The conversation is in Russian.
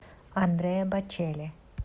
андреа бочелли